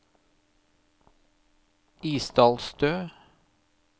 Isdalstø